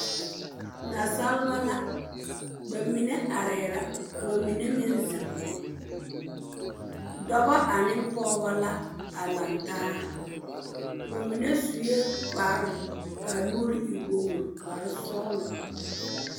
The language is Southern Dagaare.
Nasaaba la, bamine arɛɛ la ka ba mine meŋ zeŋ. Dɔbɔ ane pɔgebɔ la a lantaa. Ba mine sue kparre ka a nuuri e wogiri, kparre sɔgelɔ.